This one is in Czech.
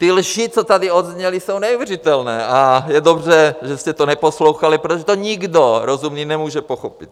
Ty lži, co tady zazněly, jsou neuvěřitelné a je dobře, že jste to neposlouchali, protože to nikdo rozumný nemůže pochopit.